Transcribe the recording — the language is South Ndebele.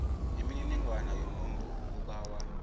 imininingwana yomuntu obawa